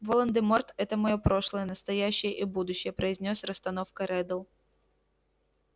волан-де-морт это моё прошлое настоящее и будущее произнёс с расстановкой реддл